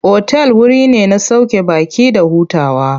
Otal wuri ne na sauke baƙi da hutawa.